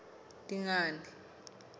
dingane